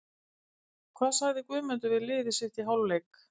Hvað sagði Guðmundur við liðið sitt í hálfleik?